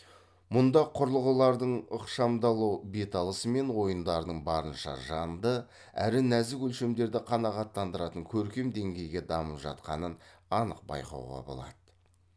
мұнда құрылғылардың ықшамдалу беталысы мен ойындардың барынша жанды әрі нәзік өлшемдерді қанағаттандыратын көркем деңгейге дамып жатқанын анық байқауға болады